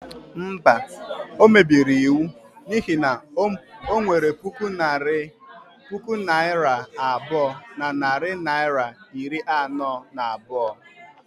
Mba, o mebiri iwu n'ihi na o nwere puku naira abụọ na narị naịra iri anọ na abụọ.